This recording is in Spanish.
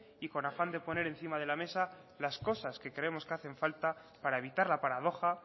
y con afán de poner encima de la mesa las cosas que creemos que hacen falta para evitar la paradoja